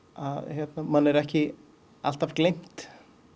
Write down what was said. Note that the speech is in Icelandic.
að manni er ekki alltaf gleymt